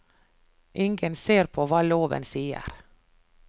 Ingen ser på hva loven sier.